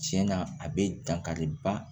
Tiɲɛ na a bɛ dankari ba